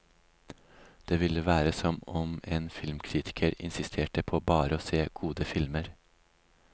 Det ville være som om en filmkritiker insisterte på bare å se gode filmer.